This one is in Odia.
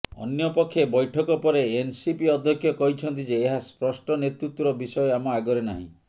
ଅନ୍ୟପକ୍ଷେ ବୈଠକ ପରେ ଏନସିପି ଅଧ୍ୟକ୍ଷ କହିଛନ୍ତି ଯେ ଏହା ସ୍ପଷ୍ଟ ନେତୃତ୍ୱର ବିଷୟ ଆମ ଆଗରେ ନାହିଁ